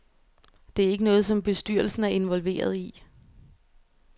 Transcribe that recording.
Det er ikke noget, som bestyrelsen er involveret i.